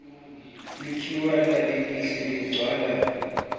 likhiwane lelihle ligcwala